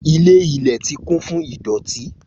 Ilé ilẹ̀ ti kún fún ìdọ̀tí